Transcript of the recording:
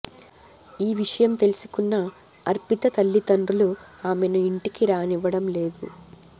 ఈ విషయం తెలుసుకున్న అర్పిత తల్లిదండ్రులు ఆమెను ఇంటికి రానివ్వడం లేదు